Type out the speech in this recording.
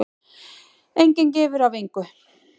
Enginn gefur af engu.